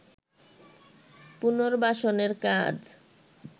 পুনর্বাসনের কাজ